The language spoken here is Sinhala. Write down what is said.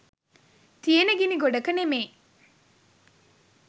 තියෙන ගිණි ගොඩක නෙමෙයි